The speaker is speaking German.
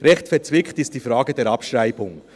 Recht verzwickt ist die Frage der Abschreibung.